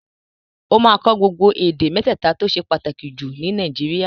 Ó máa kọ́ gbogbo èdè mẹ́tẹ̀ta tó ṣe pàtàkì jù ní Nàìjíríà